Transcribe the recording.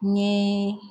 Ni